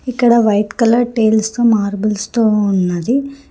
ఇక్కడ white colour tiles తో marbles తో ఉన్నది.